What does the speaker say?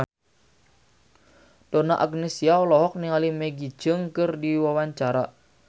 Donna Agnesia olohok ningali Maggie Cheung keur diwawancara